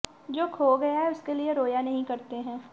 जो खो गया है उसके लिए रोया नहीं करते हैं